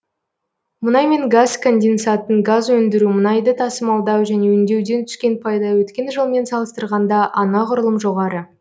мұнай мен газ конденсатын газ өндіру мұнайды тасымалдау және өңдеуден түскен пайда өткен жылмен салыстырғанда анағұрлым жоғары